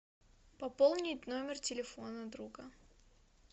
пополнить номер телефона друга